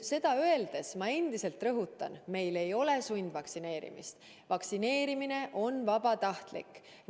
Seda öeldes ma endiselt rõhutan, et meil ei ole sundvaktsineerimist, vaktsineerimine on vabatahtlik.